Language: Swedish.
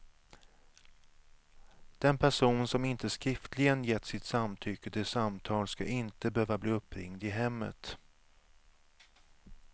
Den person som inte skriftligen gett sitt samtycke till samtal ska inte behöva bli uppringd i hemmet.